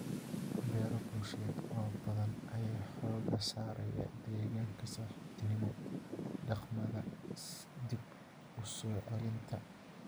Beero bulsheed oo badan ayaa xooga saaraya deegaanka saaxiibtinimo, dhaqamada dib u soo celinta.